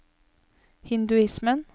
hinduismen